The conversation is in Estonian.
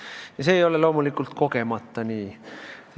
Ja see ei ole loomulikult kogemata nii.